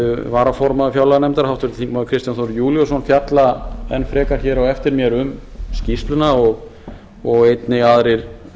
varaformaður fjárlaganefndar háttvirtir þingmenn kristján þór júlíusson fjalla enn frekar hér á eftir mér um skýrsluna og einnig aðrir